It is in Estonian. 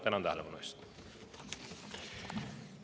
Tänan tähelepanu eest!